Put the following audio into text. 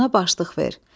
Ona başlıq ver.